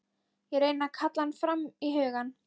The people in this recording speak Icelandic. Ég reyni að kalla hann fram í hugann.